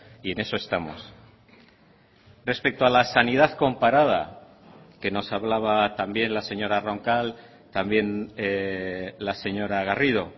y en eso estamos respecto a la sanidad comparada que nos hablaba también la señora roncal también la señora garrido